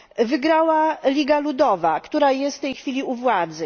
Wygrała Liga Ludowa, która jest w tej chwili u władzy.